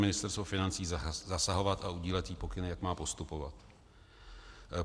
Ministerstvo financí zasahovat a udílet jí pokyny, jak má postupovat.